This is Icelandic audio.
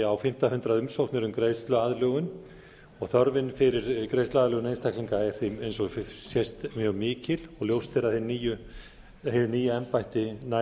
á fimmta hundrað umsóknir um greiðsluaðlögun þörfin fyrir greiðsluaðlögun einstaklinga er því eins og sést mjög mikil og ljóst er að hið nýja embætti nær